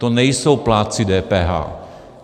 To nejsou plátci DPH.